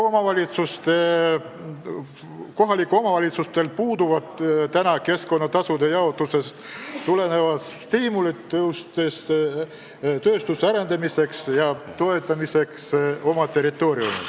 Kohalikel omavalitsustel puuduvad keskkonnatasude jaotusest tulenevad stiimulid oma territooriumil tööstuse arendamiseks ja toetamiseks.